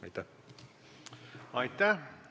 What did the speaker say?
Aitäh!